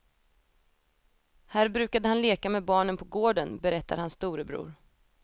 Här brukade han leka med barnen på gården, berättar hans storebror.